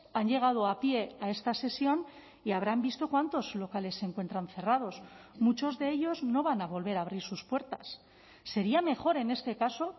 han llegado a pie a esta sesión y habrán visto cuántos locales se encuentran cerrados muchos de ellos no van a volver a abrir sus puertas sería mejor en este caso